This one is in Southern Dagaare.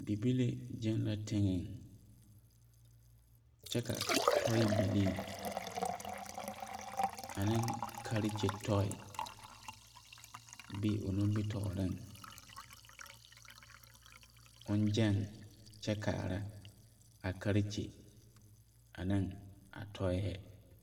Bibile gyeŋ la tiŋeŋ kyɛ ka tɔebilii aneŋ karekye tɔe be o nimitɔɔreŋ kyɛ kaara a karekye aneŋ a tɔɛhɛ.